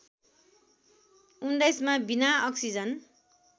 १९ मा बिना अक्सिजन